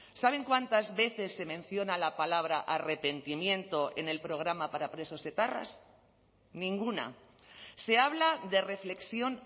saben cuántas veces se menciona la palabra arrepentimiento en el programa para presos etarras ninguna se habla de reflexión